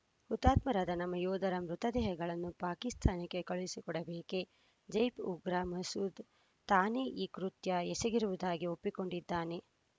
ಹುತಾತ್ಮರಾದ ನಮ್ಮ ಯೋಧರ ಮೃತ ದೇಹಗಳನ್ನು ಪಾಕಿಸ್ತಾನಕ್ಕೆ ಕಳುಹಿಸಿಕೊಡಬೇಕೇ ಜೈಪ್ ಉಗ್ರ ಮಸೂದ್‌ ತಾನೇ ಈ ಕೃತ್ಯ ಎಸಗಿರುವುದಾಗಿ ಒಪ್ಪಿಕೊಂಡಿದ್ದಾನೆ